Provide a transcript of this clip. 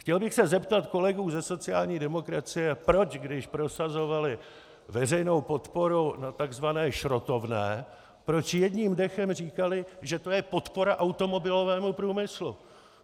Chtěl bych se zeptat kolegů ze sociální demokracie, proč když prosazovali veřejnou podporu na tzv. šrotovné, proč jedním dechem říkali, že to je podpora automobilovému průmyslu?